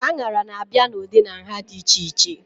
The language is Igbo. Aṅara na-abịa n'ụdị na nha dị iche iche